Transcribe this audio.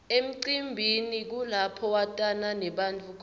emcimbini kulapho watana nebantfu khona